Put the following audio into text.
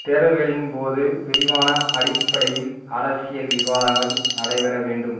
தேர்தல்களின் போது விரிவான அடிப்படையில் அரசியல் விவாதங்கள் நடை பெற வேண்டும்